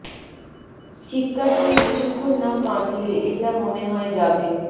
চিৎকার করে কিছুক্ষণ না কাঁদলে এটা মনে হয় যাবে